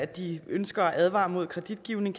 de ønsker at advare mod kreditgivning